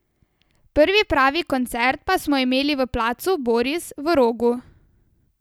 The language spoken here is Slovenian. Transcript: Prvi pravi koncert pa smo imeli v Placu Boris v Rogu.